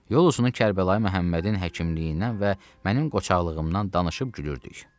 Yol boyu Kərbəlayı Məhəmmədin həkimliyindən və mənim qoçaqlığımdan danışıb gülürdük.